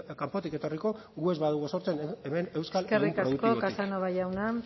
kanpotik etorriko gu ez badugu sortzen hemen euskal eskerrik asko casanova jauna